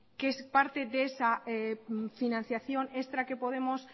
que es parte de esa financiación extra que podemos